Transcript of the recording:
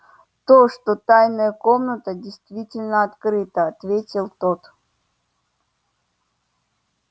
то что тайная комната действительно открыта ответил тот